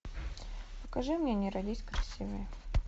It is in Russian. покажи мне не родись красивой